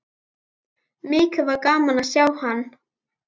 Mikið var gaman að sjá hann.